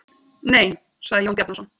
Nei, sagði Jón Bjarnason.